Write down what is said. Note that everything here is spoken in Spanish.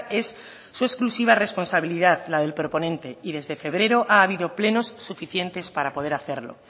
es su exclusiva responsabilidad la del proponente y desde febrero ha habido plenos suficientes para poder hacerlo